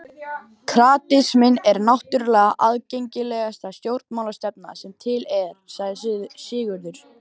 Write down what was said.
Kratisminn er náttúrlega aðgengilegasta stjórnmálastefna sem til er, sagði Sigurður.